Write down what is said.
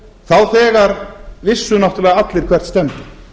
þá þegar vissu náttúrulega allir hvert stefndi